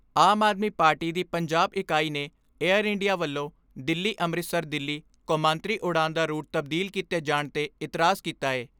ਆਮ Aadmi Party ਦੀ ਪੰਜਾਬ ਇਕਾਈ ਨੇ ਏਅਰ ਇੰਡੀਆ ਵੱਲੋਂ ਦਿੱਲੀ ਅੰਮ੍ਰਿਤਸਰ ਦਿੱਲੀ ਕੌਮਾਂਤਰੀ ਉਡਾਣ ਦਾ ਰੂਟ ਤਬਦੀਲ ਕੀਤੇ ਜਾਣ 'ਤੇ ਇਤਰਾਜ਼ ਕੀਤਾ ਏ।